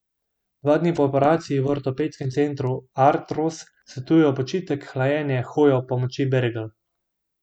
Dva dni po operaciji v ortopedskem centru Artros svetujejo počitek, hlajenje, hojo ob pomoči bergel.